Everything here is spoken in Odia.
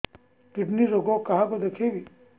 କିଡ଼ନୀ ରୋଗ କାହାକୁ ଦେଖେଇବି